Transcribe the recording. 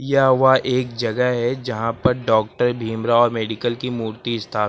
यह वह एक जगह है यहां पर डॉक्टर भीमराव अंबेडकर की मूर्ति स्था--